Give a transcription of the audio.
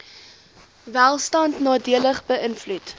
welstand nadelig beïnvloed